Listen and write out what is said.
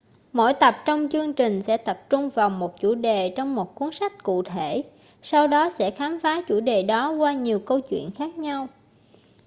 mỗi tập trong chương trình sẽ tập trung vào một chủ đề trong một cuốn sách cụ thể sau đó sẽ khám phá chủ đề đó qua nhiều câu chuyện khác nhau